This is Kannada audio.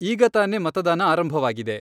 ಈಗ ತಾನೇ ಮತದಾನ ಆರಂಭವಾಗಿದೆ.